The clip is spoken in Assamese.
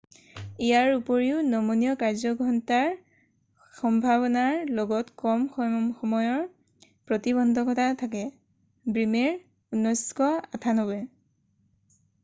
ইয়াৰ উপৰিও নমনীয় কাৰ্যঘণ্টাৰ সম্ভাৱনাৰ লগত কম সময়ৰ প্ৰতিবন্ধকতা থাকে। ব্ৰিমেৰ 1998